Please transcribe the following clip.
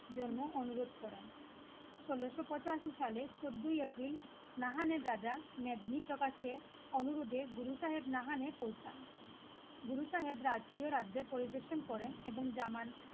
জন্য অনুরোধ করেন. ষোলশো পঁচাশি সালের চোদ্দই এপ্রিল নাহানের রাজা মেদিনী প্রকাশে অনুরোধে গুরু সাহেব নাহানে পৌঁছান গুরু সাহেবরা আজকেও রাজ্য পরিদর্শন করেন এবং জামান